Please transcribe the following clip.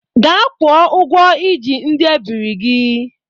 Ga gwọ ogwọ ị ji ndị ebiri gị!